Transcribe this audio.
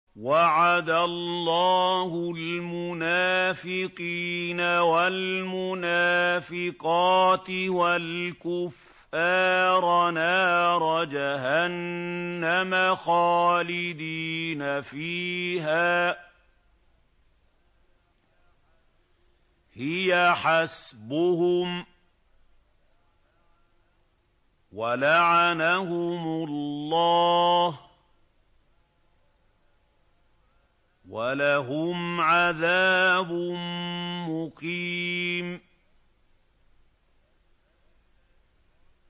وَعَدَ اللَّهُ الْمُنَافِقِينَ وَالْمُنَافِقَاتِ وَالْكُفَّارَ نَارَ جَهَنَّمَ خَالِدِينَ فِيهَا ۚ هِيَ حَسْبُهُمْ ۚ وَلَعَنَهُمُ اللَّهُ ۖ وَلَهُمْ عَذَابٌ مُّقِيمٌ